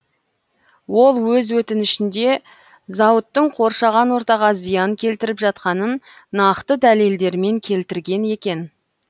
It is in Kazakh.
ол өз өтінішінде зауыттың қоршаған ортаға зиян келтіріп жатқанын нақты дәлелдермен келтірген екен